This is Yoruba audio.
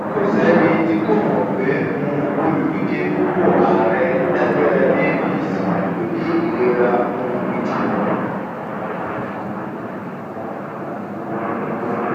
kò sẹni tí kò mọ pé um olùdíje fúnpọ àárẹ lẹgbẹ apc kò ní ìlera um gidi